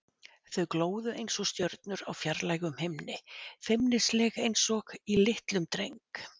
Þau glóðu einsog stjörnur á fjarlægum himni, feimnisleg einsog í litlum dreng.